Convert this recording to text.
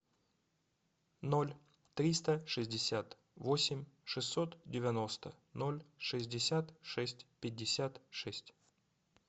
ноль триста шестьдесят восемь шестьсот девяносто ноль шестьдесят шесть пятьдесят шесть